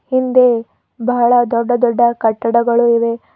ಹಿಂದೆ ಬಹಳ ದೊಡ್ಡ ದೊಡ್ಡ ಕಟ್ಟಡಗಳು ಇವೆ.